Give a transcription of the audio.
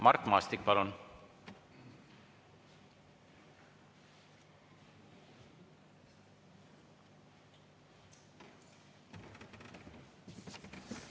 Mart Maastik, palun!